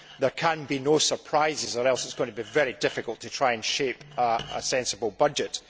There can be no surprises or else it is going to be very difficult to try and shape a sensible budget.